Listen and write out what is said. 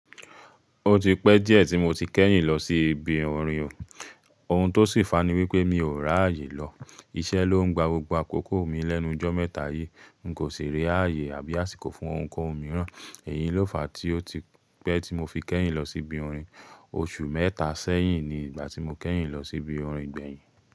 Ó ti pẹ́ díẹ̀ tí mo ti kẹ́yìn lọ sí ibi orin o. Ohun tó sì fàá ní wípé mi ò rààyè lọ. Iṣẹ́ ló ń gba gbogbo àkókò mi lẹ́nu jọ́ mẹ́ta yìí. N kò ṣe rí ààyè àbí àsìkò fún ohun kan mìíràn. Èyí ló fàá tí ó ti pẹ́ tí mo fi kẹ́yìn lọ sí ibi orin. Oṣù mẹ́ta sẹ́yìn ni ìgbà tí mo kẹ́yìn lọ sí ibi orin gbẹ̀yìn.